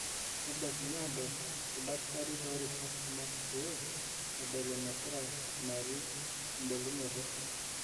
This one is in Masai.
nebaikini aadol oldakitari too rishat kumok pe edol enegira ikunari ebulunoto.